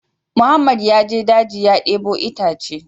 Mohammed ya je daji ya debo itace